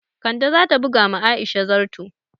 Kande za ta buga ma Aisha zarto